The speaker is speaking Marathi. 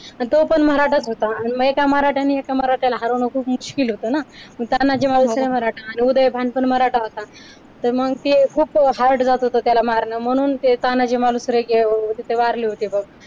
आणि तो पण मराठाच होता आणि एका मराठ्यांनी एका मराठ्याला हरवणं खूप मुश्किल होतं ना मग तानाजी मालुसरे मराठा उदयभान पण मराठा होता तर मग ते खूप hard जात होते त्याला मारणं म्हणून ते तानाजी मालुसरे अह तिथे वारले होते बघ